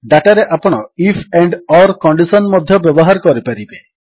ଡାଟାରେ ଆପଣ IF and or condition ମଧ୍ୟ ବ୍ୟବହାର କରିପାରିବେ